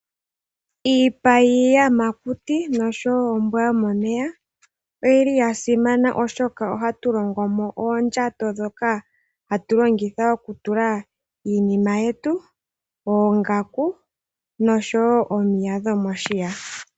Iipa yiiyamakuti noshowo ombwa yomomeya oyili ya simana oshoka ohatu longo mo oondjato ndhoka hatu longitha okutula mo iinima yetu, oongaku noshowo omiya dhomoshiya.